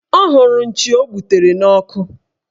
Ọ hụrụ nchi o gbutere n'ọkụ